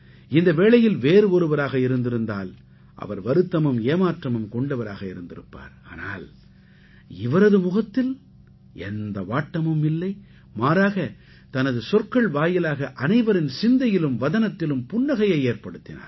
இந்த வேளையில் வேறு ஒருவராக இருந்திருந்தால் அவர் வருத்தமும் ஏமாற்றமும் கொண்டவராக இருந்திருப்பார் ஆனால் இவரது முகத்தில் எந்த வாட்டமும் இல்லை மாறாக தனது சொற்கள் வாயிலாக அனைவரின் சிந்தையிலும் வதனத்திலும் புன்னகையை ஏற்படுத்தினார்